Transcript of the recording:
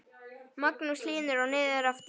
Magnús Hlynur: Og niður aftur?